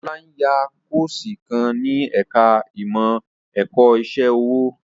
Ọlá ń yá Kọ́ọ̀sì kan ní ẹ̀ka ìmọ̀ ẹ̀kọ́ iṣẹ́ ọwọ́